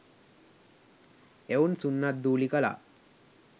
එවුන් සුන්නද්දූලි කළා.